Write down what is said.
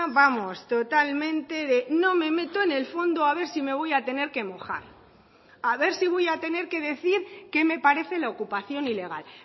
vamos totalmente de no me meto en el fondo a ver si me voy a tener que mojar a ver si voy a tener que decir qué me parece la ocupación ilegal